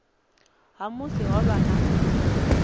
ha musi ho vha na